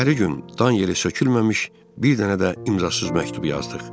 Səhəri gün dan yeri sökülməmiş, bir dənə də imzasız məktub yazdıq.